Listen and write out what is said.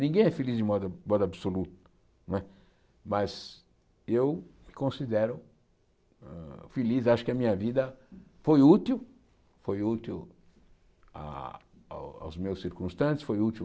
Ninguém é feliz de modo modo absoluto, não é mas eu me considero feliz, acho que a minha vida foi útil, foi útil ah aos meus circunstantes, foi útil